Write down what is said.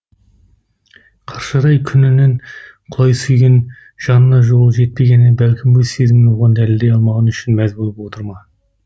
қаршадай күнінен құлай сүйген жанына қолы жетпегені бәлкім өз сезімін оған дәлелдей алмағаны үшін мәз болып отыр ма